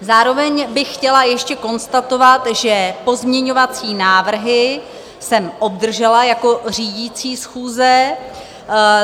Zároveň bych chtěla ještě konstatovat, že pozměňovací návrhy jsem obdržela jako řídící schůze.